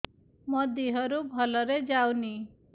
ମୋ ଦିହରୁ ଭଲରେ ଯାଉନି